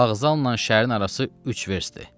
Vağzalla şəhərin arası üç verstdir.